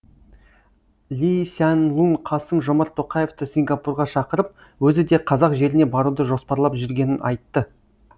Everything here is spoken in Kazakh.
ли сян лун қасым жомарт тоқаевты сингапурға шақырып өзі де қазақ жеріне баруды жоспарлап жүргенін айтты